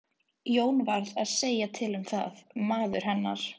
Jón varð að segja til um það, maður hennar.